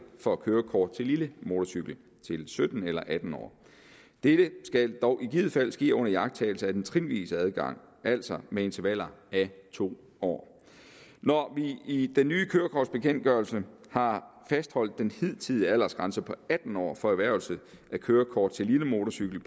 for kørekort til lille motorcykel til sytten eller atten år dette skal dog i givet fald ske under iagttagelse af den trinvise adgang altså med intervaller af to år når vi i den nye kørekortbekendtgørelse har fastholdt den hidtidige aldersgrænse på atten år for erhvervelse af kørekort til lille motorcykel